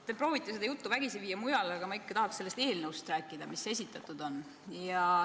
Te proovite seda juttu vägisi viia mujale, aga ma tahaks ikka rääkida sellest eelnõust, mis esitatud on.